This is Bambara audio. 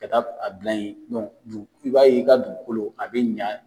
Ka taa a bila yen i b'a ye i ka dugukolo a bɛ ɲɛ